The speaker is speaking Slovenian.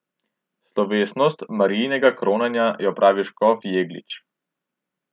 Slovesnost Marijinega kronanja je opravil škof Jeglič.